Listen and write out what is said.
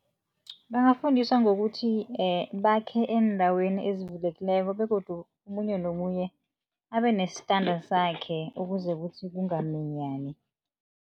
Bangafundiswa ngokuthi, bakhe endaweni ezivulekileko begodu omunye nomunye abenestanda sakhe ukuze kuthi kungaminyani.